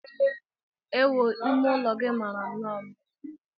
Ewu! Ime ụlọ gị mara nnọọ mma.